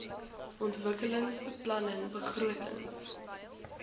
ontwikkelingsbeplanningbegrotings